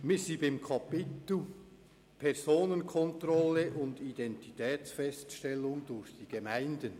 Wir sind beim Kapitel «Personenkontrolle und Identitätsfeststellung durch die Gemeinden».